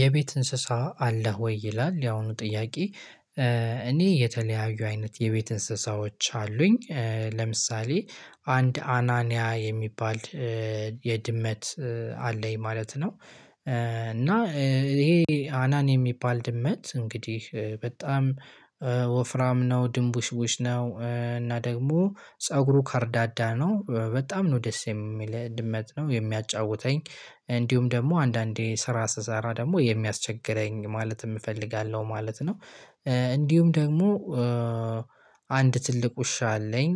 የቤት እንስሳ አለህ ወይ? ይላል ያሁኑ ጥያቄ እኔ የተለያዩ አይነት የቤት እንስሳዎች አሉኝ ለምሳሌ አንድ አናንያ የሚባል የድመት አለኝ ማለት ነው። እና ይሄ አናን የሚባል ድመት እንግዲህ በጣም ወፍራም ነው። ድንቡሽቡሽ ነው እና ደግሞ ፀጉሩ ካርዳዳ ነው በጣም ነው ደስ የሚል። የሚያጫውተኝ እንዲሁም ደግሞ አንዳንዴ ስራ ስሰራ ደግሞ የሚያስቸግረኝ ማለት እፈልጋለሁ ማለት ነው። እንዲሁም ደግሞ አንድ ትልቅ ውሻ አለኝ።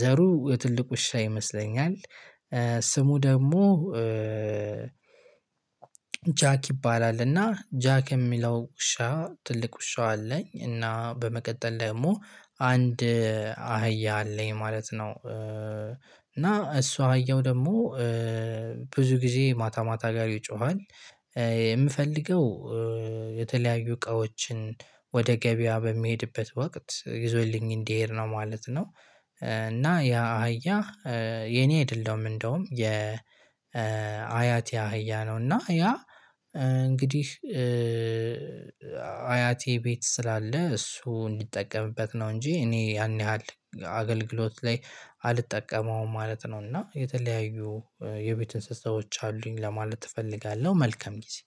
ዘሩ ትልቅ ውሻ ይመስለኛል። ስሙ ደግሞ ጃክ ይባላል። እና ጃክ የሚለው ውሻ ትልቅ ውሻው አለኝ። እና በመቀጠል ደግሞ አንድ አህያ አለኝ ማለት ነው። እና እሱ አየው ደግሞ ብዙ ጊዜ ማታ ማታ ጋር ይጮሃል። የምፈልገው የተለያዩ እቃዎችን ወደ ገበያ በሚሄድበት ወቅት ይዞልኝ እንዲሄድ ነው ማለት ነው። እና ያ አህያ የኔ አይደለም እንደውም የ አያቴ አህያ ነው። እና ያ እንግዲህ አያቴ ቤት ስላለ እሱ እንዲጠቀምበት ነው። እንጂ እኔ ያን ያህል አገልግሎት ላይ አልጠቀመውም ማለት ነው። እና የተለያዩ የቤት እንስሳዎች አሉኝ ለማለት እፈልጋለሁ መልከም ጊዜ።